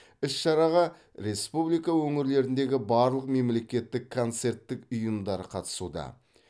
іс шараға республика өңірлеріндегі барлық мемлекеттік концерттік ұйымдары қатысуда